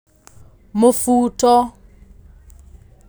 Mũbuto